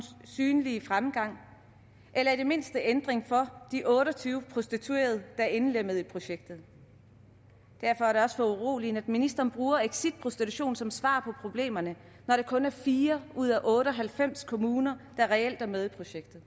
synlig fremgang eller i det mindste ændring for de otte og tyve prostituerede er indlemmet i projektet derfor er det også foruroligende at ministeren bruger exit prostitution som svar på problemerne når det kun er fire ud af otte og halvfems kommuner der reelt er med i projektet